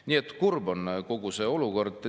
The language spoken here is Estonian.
Nii et kurb on kogu see olukord.